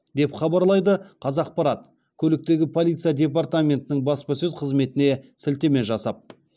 деп хабарлайды қазақпарат көліктегі полиция департаментінің баспасөз қызметіне сілтеме жасап